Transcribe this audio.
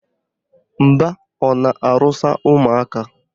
Mba, ọ na-arụsa ụmụaka